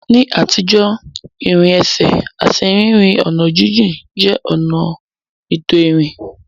Ní àtijọ́, ìrìn ẹsẹ̀ àti rírin ọ̀nà jíjìn jẹ́ ọ̀nà ètò ìrìn.